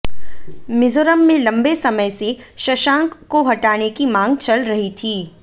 मिजोरम में लंबे समय से शशांक को हटाने की मांग चल रही थी